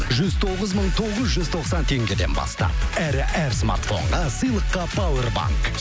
жүз тоғыз мың тоғыз жүз тоқсан теңгеден бастап әрі әр смартфонға сыйлыққа пауэрбанк